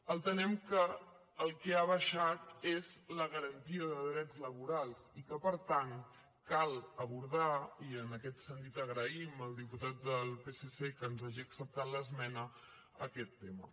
entenem que el que ha baixat és la garantia de drets laborals i que per tant cal abordar i en aquest sentit agraïm al diputat del psc que ens hagi acceptat l’esmena aquest tema